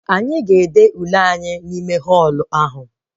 Anyị ga-ede Ule anyị n'ime họlụ ahụ